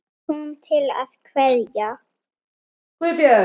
Kom til að kveðja.